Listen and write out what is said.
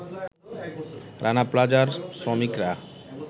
রানা প্লাজার শ্রমিকরা